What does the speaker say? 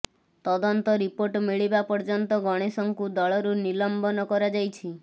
ତଦନ୍ତ ରିପୋର୍ଟ ମିଳିବା ପର୍ଯ୍ୟନ୍ତ ଗଣେଶଙ୍କୁ ଦଳରୁ ନିଲମ୍ବନ କରାଯାଇଛି